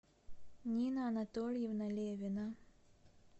нина анатольевна левина